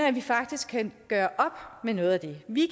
at vi faktisk kan gøre op med noget af det vi